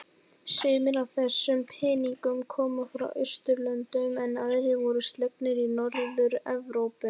Sumir af þessum peningnum koma frá Austurlöndum en aðrir voru slegnir í Norður-Evrópu.